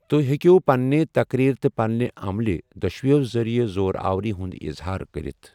توہۍ ہیکٮ۪و پننہِ تَقریٖر تہٕ پننہِ عملہِ دۄشوٕیو ذریعہِ زور آوری ہُنٛد اظہار کٔرتھ۔